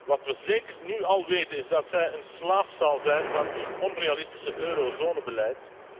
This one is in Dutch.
Wat we zeker nu al weten is dat ze een slaaf zal zijn van uw onrealistische eurozonebeleid.